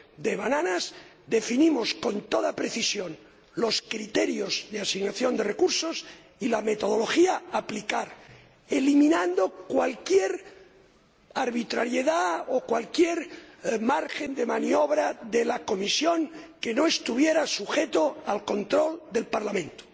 de plátanos, definimos con toda precisión los criterios de asignación de recursos y la metodología a aplicar, eliminando cualquier arbitrariedad o cualquier margen de maniobra de la Comisión que no estuviera sujeto al control del Parlamento.